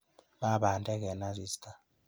Ma bandek eng asista.